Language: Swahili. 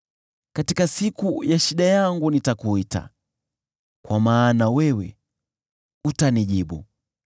Katika siku ya shida yangu nitakuita, kwa maana wewe utanijibu.